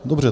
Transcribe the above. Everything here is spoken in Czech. Dobře.